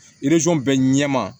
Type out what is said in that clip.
bɛɛ ɲɛma